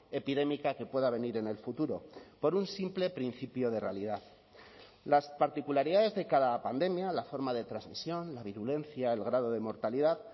epidémica que pueda venir en el futuro por un simple principio de realidad las particularidades de cada pandemia la forma de transmisión la virulencia el grado de mortalidad